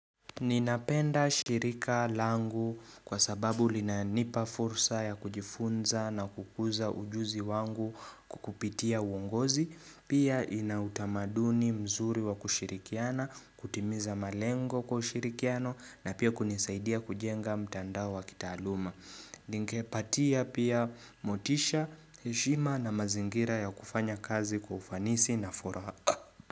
Ninapenda shirika langu kwa sababu linanipa fursa ya kujifunza na kukuza ujuzi wangu kupitia uongozi Pia ina utamaduni mzuri wa kushirikiana, kutimiza malengo kwa ushirikiano na pia kunisaidia kujenga mtandao wa kitaaluma Ningepatia pia motisha, heshima na mazingira ya kufanya kazi kwa ufanisi na furaha.